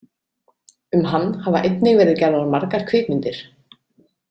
Um hann hafa einnig verið gerðar margar kvikmyndir.